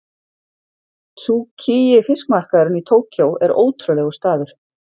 Tsukiji fiskmarkaðurinn í Tókýó er ótrúlegur staður.